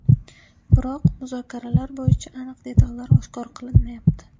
Biroq, muzokaralar bo‘yicha aniq detallar oshkor qilinmayapti.